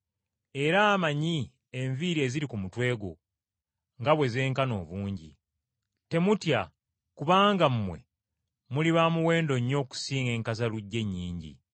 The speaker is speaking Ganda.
Era amanyi enviiri eziri ku mutwe gwo nga bwe zenkana obungi. Temutya kubanga mmwe muli ba muwendo nnyo okusinga enkazaluggya ennyingi.